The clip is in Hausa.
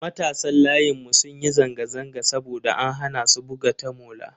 Matasan layinmu sun yi zanga-zanga saboda an hana su buga tamola.